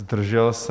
Zdržel se?